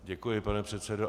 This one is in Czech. Děkuji, pane předsedo.